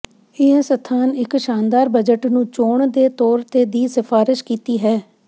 ਇਹ ਸਥਾਨ ਇੱਕ ਸ਼ਾਨਦਾਰ ਬਜਟ ਨੂੰ ਚੋਣ ਦੇ ਤੌਰ ਤੇ ਦੀ ਸਿਫਾਰਸ਼ ਕੀਤੀ ਹੈ